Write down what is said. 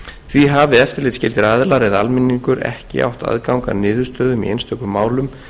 því hafi eftirlitsskyldir aðilar eða almenningur ekki átt aðgang að niðurstöðum í einstökum málum